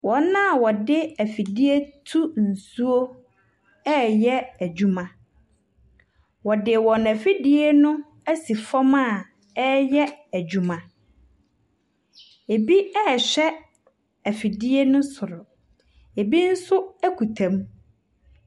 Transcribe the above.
Wɔn a wɔde efidie tu nsuo ɛɛyɛ edwuma. Wɔde wɔn efidie no esi fɔm a ɛɛyɛ edwuma. Ebi ɛɛhwɛ efidie ne soro, ebi nso ekuta mu.